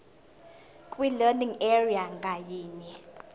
kwilearning area ngayinye